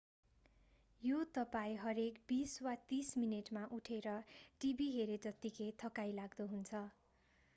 यो तपाईं हरेक बीस वा तीस मिनेटमा उठेर टिभी हेरे जत्तिकै थकाइ लाग्दो हुन्छ